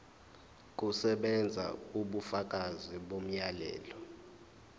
kusebenza ubufakazi bomyalelo